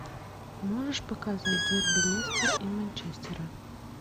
можешь показать дерби лестер и манчестера